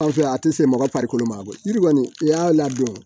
Anw fɛ yan a tɛ se mɔgɔ farikolo ma bɔ yiri kɔni i y'a ladon